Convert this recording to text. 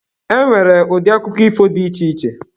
E nwere ụdị akụkọ ifo dị iche iche.